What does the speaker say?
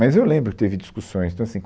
Mas eu lembro que teve discussões. Então assim